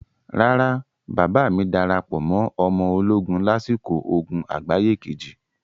Rárá, bàbáà mi darapọ̀ mọ ọmọ ológun lásìkò ogun àgbáyé Kejì.